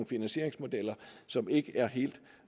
finansieringsmodeller som ikke er helt